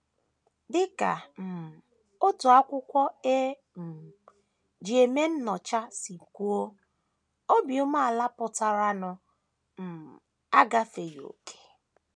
Dị ka um otu akwụkwọ e um ji eme nnyocha si kwuo, obi umeala pụtakwara “ um agafeghị ókè. ””